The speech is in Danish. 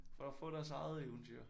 For at få deres eget eventyr